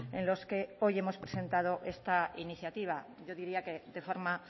en los que hoy hemos presentado esta iniciativa yo diría que de forma